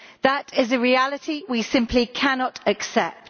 That is a reality we simply cannot accept.